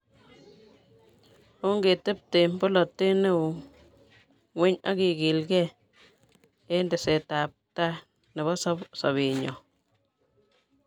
Ongetebte polatet neo ngweny akekilkei eng tesetaetabkei nebo sobenyo